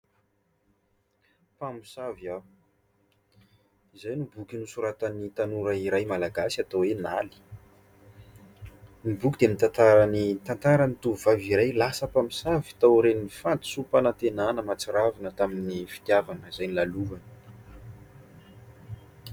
"Mpamosavy aho", izay no boky nosoratan'ny tanora iray malagasy atao hoe i Naly. Ny boky dia mitantara ny tantaran'ny tovovavy iray lasa mpamosavy tao aorian'ny fahadisom-panantenana mahatsiravina tamin'ny fitiavana izay nolalovany.